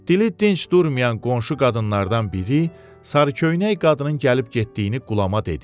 Dili dinc durmayan qonşu qadınlardan biri sarıköynək qadının gəlib getdiyini Qulama dedi.